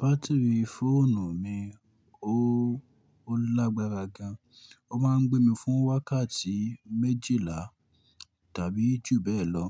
Batiri fóònù mi ò o lágbára gan, ó máa ń gbé mi fún wákàtí méjìlá tàbí jù bẹ́ẹ̀ lọ.